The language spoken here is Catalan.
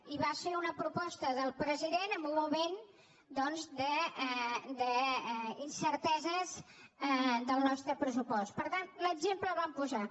i va ser una proposta del president en un moment doncs d’incerteses del nos·tre pressupost per tant l’exemple el vam posar